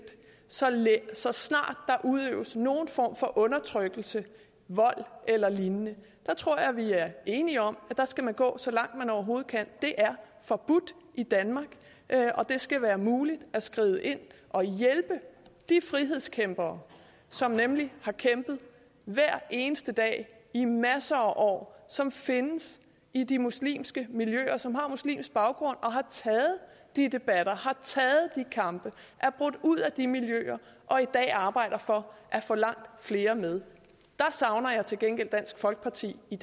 så så snart der udøves nogen form for undertrykkelse vold eller lignende der tror jeg vi er enige om at man skal gå så langt som man overhovedet kan det er forbudt i danmark og det skal være muligt at skride ind og hjælpe de frihedskæmpere som nemlig har kæmpet hver eneste dag i masser af år og som findes i de muslimske miljøer som har muslimsk baggrund og har taget de debatter har taget de kampe er brudt ud af de miljøer og i dag arbejder for at få langt flere med jeg savner til gengæld dansk folkeparti i